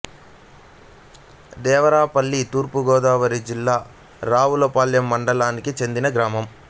దేవరాపల్లి తూర్పు గోదావరి జిల్లా రావులపాలెం మండలానికి చెందిన గ్రామం